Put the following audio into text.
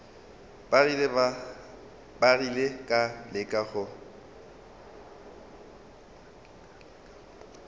ba rile ka leka go